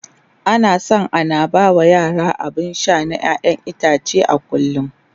ana San ana ba yara abun Sha na ƴaƴan itace a kullum